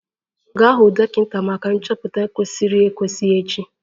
Gaa hụ dọkịta maka nchọpụta kwesịrị ekwesị echi!